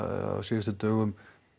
á síðustu dögum